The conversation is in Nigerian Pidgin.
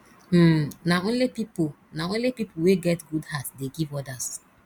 um na only pipo na only pipo wey get good heart dey give odas